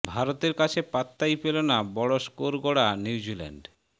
ভারতের কাছে পাত্তাই পেল না বড় স্কোর গড়া নিউজিল্যান্ড